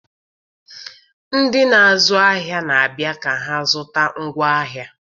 Ndị na-azụ ahịa na-abịa ka ha zụta ngwaahịa.